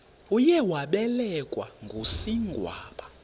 uye wabelekwa ngusigwamba